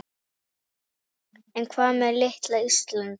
En hvað með litla Ísland?